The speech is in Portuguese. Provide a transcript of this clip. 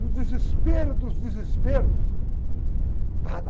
No desespero dos desesperos, nada.